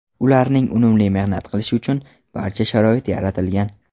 Ularning unumli mehnat qilishi uchun barcha sharoit yaratilgan.